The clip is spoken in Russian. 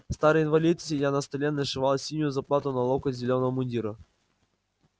старый инвалид сидя на столе нашивал синюю заплату на локоть зелёного мундира